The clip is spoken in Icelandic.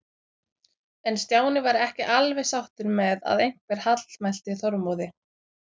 En Stjáni var ekki alveg sáttur með að einhver hallmælti Þormóði.